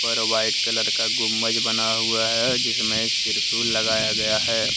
और white colour का गुंबज बना हुआ है जिसमें एक त्रिशूल लगाया गया है।